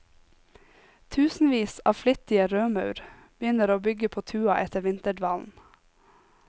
Tusenvis av flittige rødmaur begynner å bygge på tua etter vinterdvalen.